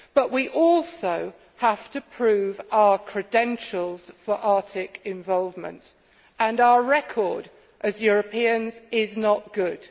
We also have to prove our credentials for Arctic involvement, and our record as Europeans is not good.